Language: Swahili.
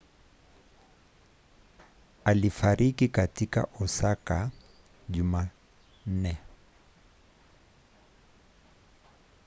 alifariki katika osaka jumanne